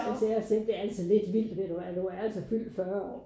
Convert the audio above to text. Så sagde jeg selv det er altså lidt vildt ved du hvad du er altså fyldt 40 år